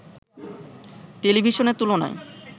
টেলিভিশনের তুলনায়